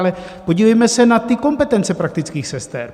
Ale podívejme se na ty kompetence praktických sester.